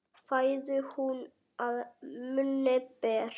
Fæðu hún að munni ber.